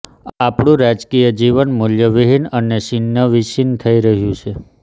આપણું રાજકીય જીવન મૂલ્યવિહીન અને છિન્ન વિચ્છિન થઈ રહ્યું છે